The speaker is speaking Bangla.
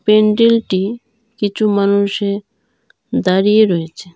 প্যান্ডেলটি কিছু মানুষে দাঁড়িয়ে রয়েছে।